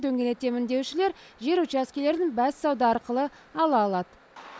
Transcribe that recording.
дөңгелетемін деушілер жер учаскелерін бәссауда арқылы ала алады